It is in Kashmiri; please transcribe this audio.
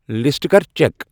لسٹہٕ کر چیک ۔